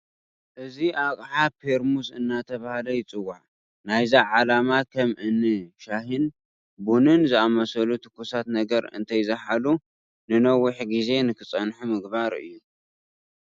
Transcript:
እዚ ኣቕሓ ፔርሙዝ እናተባህሉ ይፅዋዕ፡፡ ናይዚ ዓላማ ከም እኒ ሻሂን ቡንን ዝኣምሰሉ ትኩሳት ነገራት እንተይዘሓሉ ንነዊሕ ግዜ ንክፀንሑ ምግባር እዩ፡፡